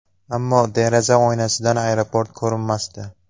Ammo deraza oynasidan aeroport ko‘rinmasdi.